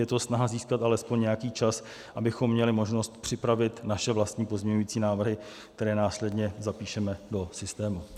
Je to snaha získat alespoň nějaký čas, abychom měli možnost připravit své vlastní pozměňovací návrhy, které následně zapíšeme do systému.